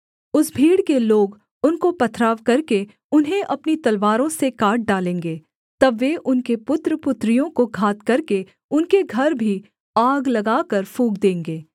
उस भीड़ के लोग उनको पत्थराव करके उन्हें अपनी तलवारों से काट डालेंगे तब वे उनके पुत्रपुत्रियों को घात करके उनके घर भी आग लगाकर फूँक देंगे